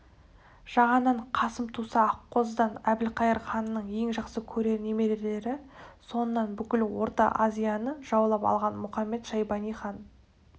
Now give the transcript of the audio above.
жағаннан қасым туса аққозыдан әбілқайыр ханның ең жақсы көрер немерелері соңынан бүкіл орта азияны жаулап алған мұхамед-шайбани хан